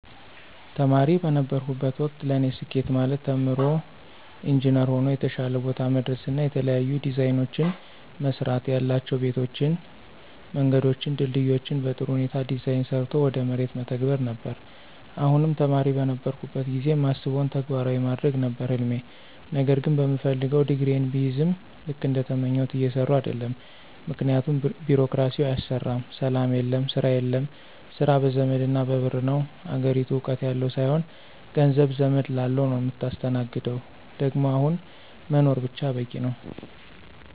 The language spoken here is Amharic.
ተማሪ በነበርሁበት ወቅት ለኔ ስኬት ማለት ተምሮ ኢንጅነር ሆኖ የተሻለ ቦታ መድረስና የተለያዩ ዲዛይኖችን መስራትያላቸው ቤቶችን፣ መንገዶችን፣ ድልድዮችን በጥሩ ሁኔታ ዲዛይን ሰርቶ ወደ መሬት መተግበር ነበር፣ አሁንም ተማሪ በነበርሁበት ጊዜ ማስበውን ተግባራዊ ማድረግ ነበር ህልሜ ነገር ግን በምፈልገው ዲግሪየን ብይዝም ልክ እንደተመኘሁት እየሰራሁ አደለም ምክንያቱም ቢሮክራሲው አያሰራም፣ ሰላም የለም፣ ስራ የለም፣ ስራ በዘመድና በብር ነው፣ አገሪቱ እውቀት ያለው ሳይሆን ገንዘብ፣ ዘመድ ላለው ነው ምታስተናግደው ደግሞ አሁን መኖር ብቻ በቂ ነው።